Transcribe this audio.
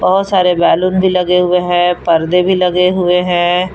बहुत सारे बैलून भी लगे हुए हैं पर्दे भी लगे हुए हैं।